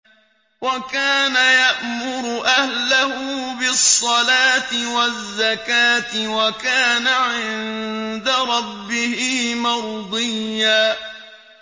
وَكَانَ يَأْمُرُ أَهْلَهُ بِالصَّلَاةِ وَالزَّكَاةِ وَكَانَ عِندَ رَبِّهِ مَرْضِيًّا